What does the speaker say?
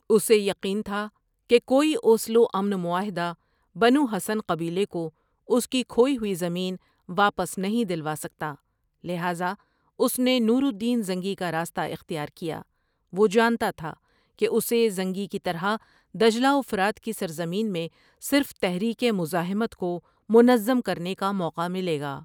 اسے یقین تھا کہ کوئی اوسلو امن معاہدہ بنو حسن قبیلے کو اس کی کھوئی ہوئی زمین واپس نہیں دلوا سکتا لہٰذا اس نے نور الدین زنگی کا راستہ اختیار کیا وہ جانتا تھا کہ اسے زنگی کی طرح دجلہ و فرات کی سرزمین میں صرف تحریک مزاحمت کو منظم کرنے کا موقع ملے گا ۔